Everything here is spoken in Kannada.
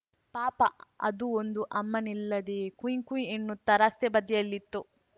ಪಾಪ ಅದು ಒಂದು ಅಮ್ಮನಿಲ್ಲದೇ ಕುಯ್‌ ಕುಯ್‌ ಎನ್ನುತ್ತಾ ರಸ್ತೆ ಬದಿಯಲ್ಲಿತ್ತು